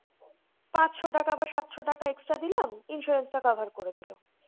পাঁচশো টাকা বা সাতশো টাকা extra দিলাম insurance টা cover করে দিলো।